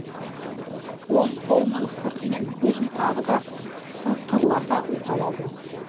оң қолының сыртымен көзін тағы да сықырлата уқалады